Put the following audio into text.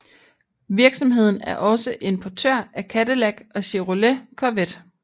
Virksomheden er også importør af Cadillac og Chevrolet Corvette